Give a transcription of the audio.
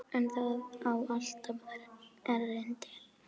En það á alltaf erindi.